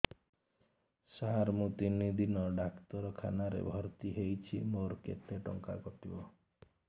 ସାର ମୁ ତିନି ଦିନ ଡାକ୍ତରଖାନା ରେ ଭର୍ତି ହେଇଛି ମୋର କେତେ ଟଙ୍କା କଟିବ